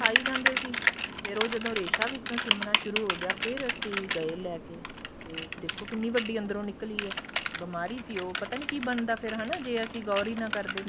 ਦਿਖਾਈ ਜਾਂਦੇ ਸੀ ਫੇਰ ਉਹ ਜਦੋ ਰੇਸ਼ਾ ਵਿਚੋ ਸਿਮਣਾ ਸ਼ੁਰੂ ਹੋ ਗਿਆ ਫ਼ੇਰ ਅਸੀਂ ਗਏ ਲੈਕੇ ਤੇ ਦੇਖੋ ਕਿੰਨੀ ਵੱਡੀ ਅੰਦਰੋ ਨਿੱਕਲੀ ਇਹ ਬੀਮਾਰੀ ਸੀ ਉਹ ਪਤਾ ਨੀ ਕੀ ਬਣਦਾ ਫ਼ੇਰ ਹਨਾ ਜੇ ਅਸੀਂ ਗੋਰ ਈ ਨਾ ਕਰਦੇ